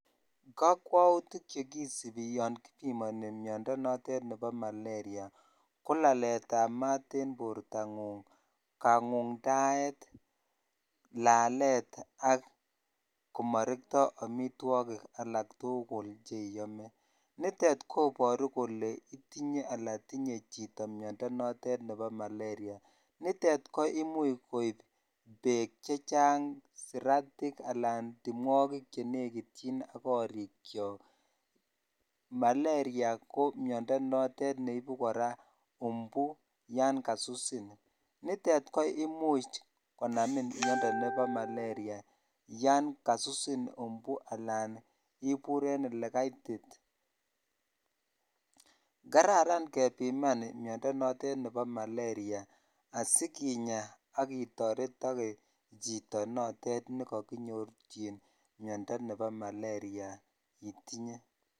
Kokwoutik chekisibi yoon kipimoni miondo notet nebo malaria ko laletab maat en bortang'ung, kangundaet, laleet ak komorekto amitwokik alak tukul cheome, nitet koboru itinye alaan tinye chito miondo notet nebo malaria, nitet ko imuch koib beek chechang, siratik alaan timwokik chenekityin ak korikyok, mlaria ko miondo notet neibu kora umbu yoon kasusin, nitet ko imuch konamin miondo nebo malaria yoon kasusin umbu alaan ibur en elekaitit, kararan kebiman miondo notet nebo malaria asikinya ak itoretoke chito notet nekokinyorchin miondo nebo malaria itinye.